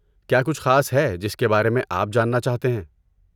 کیا کچھ خاص ہے جس کے بارے میں آپ جاننا چاہتے ہیں؟